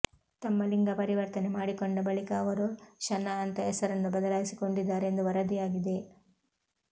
ತಮ್ಮ ಲಿಂಗ ಪರಿವರ್ತನೆ ಮಾಡಿಕೊಂಡ ಬಳಿಕ ಅವರು ಶನಾ ಅಂತ ಹೆಸರನ್ನು ಬದಲಾಯಿಸಿಕೊಂಡಿದ್ದಾರೆ ಎಂದು ವರದಿಯಾಗಿದೆ